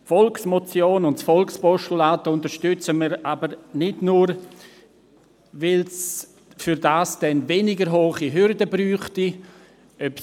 Die Volksmotion und das Volkspostulat unterstützen wir jedoch nicht nur, weil es dafür weniger hohe Hürden benötigen würde.